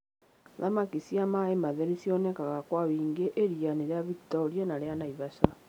Thamaki cia maĩ matheru cionekaga kwa wĩingĩ iria-inĩ rĩa Victoria na rĩa Naivasha.